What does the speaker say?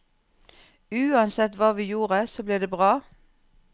Uansett hva vi gjorde, så ble det bra.